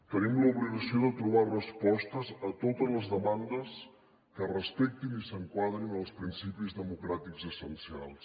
tenim l’obligació de trobar respostes a totes les demandes que respectin i s’enquadrin als principis democràtics essencials